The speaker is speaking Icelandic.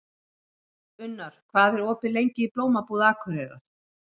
Unnar, hvað er opið lengi í Blómabúð Akureyrar?